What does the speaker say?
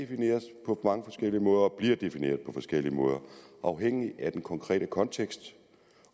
defineres på mange forskellige måder og bliver defineret på forskellige måder afhængigt af den konkrete kontekst